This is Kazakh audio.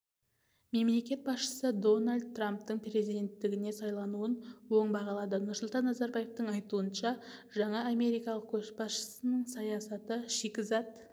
мемлекет басшысы дональд трамптың президентігіне сайлануын оң бағалады нұрсұлтан назарбаевың айтуынша жаңа америкалық көшбасшының саясаты шикізат